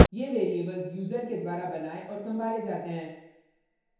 * ये variables user के द्वारा बनाये और संभाले जाते हैं